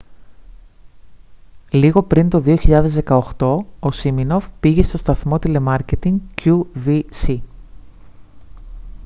λίγο πριν το 2018 ο σίμινοφ πήγε στον σταθμό τηλεμάρκετινγκ qvc